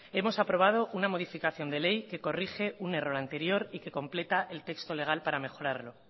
hemos aprobado una modificación de ley que corrige un error anterior y que completa el texto legal para mejorarlo